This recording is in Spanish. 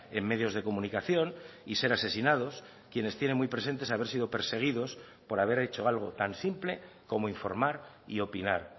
en medios de comunicación y ser asesinados quienes tiene muy presentes haber sido perseguidos por haber hecho algo tan simple como informar y opinar